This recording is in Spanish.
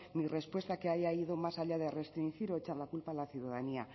ni respuesta que haya ido más allá de restringir o echar la culpa a la ciudadanía